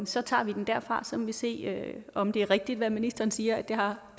så tager vi den derfra så må vi se om det er rigtigt når ministeren siger at det har